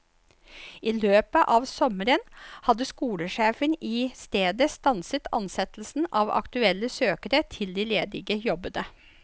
I løpet av sommeren hadde skolesjefen i stedet stanset ansettelsen av aktuelle søkere til de ledige jobbene.